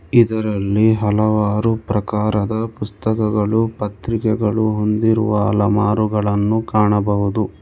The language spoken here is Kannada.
ಇದರಲ್ಲಿ ಹಲವಾರು ಪ್ರಕಾರದ ಪುಸ್ತಕಗಳು ಪತ್ರಿಕೆಗಳು ಹೊಂದಿರುವ ಅಲಮಾರುಗಳನ್ನು ಕಾಣಬಹುದು.